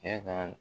E ka